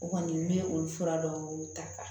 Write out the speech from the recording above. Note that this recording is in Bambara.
O kɔni n bɛ olu fura dɔw ta